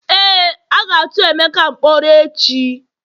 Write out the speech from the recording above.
Éè, a ga tu emeka mkpọrọ echi